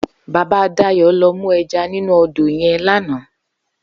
Baba Dayo lò mú èjá ninú ódó yèn làná